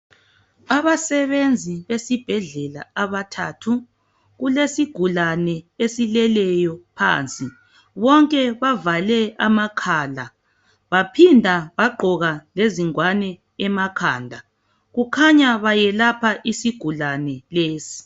Abasebenzi esibhedlela abathathu. Kulesigulane esileleyo phansi. Bonke bavale amakhala baphinda bagqoka lezingwane emakhanda kukhanya bayelapha isigulane lesi.